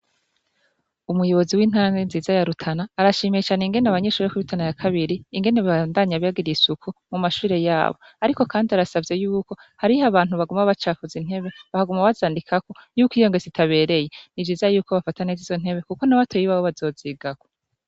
Umuyobozi w'intange nziza yarutana arashimiye cane ingene abanyeshuri ya kwirutana ya kabiri ingene baandanye abragiriye isuku mu mashure yabo, ariko, kandi arasavye yuko hariho abantu baguma bacakuza intebe bahaguma bazandikako yuko iyonge sitabereye ni ijiza yuko bafatanez' izo ntebe, kuko nabatoyibabo bazozigako.